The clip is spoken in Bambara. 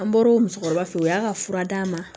An bɔr'o musokɔrɔba fe ye o y'a ka fura d'a ma